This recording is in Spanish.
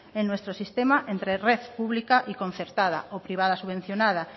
en nuestro sistema entre red pública y concertada o privada subvencionada